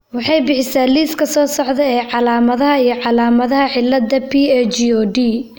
waxay bixisaa liiska soo socda ee calaamadaha iyo calaamadaha cillada PAGOD.